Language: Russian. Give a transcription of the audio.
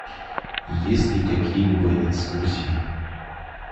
есть ли какие либо экскурсии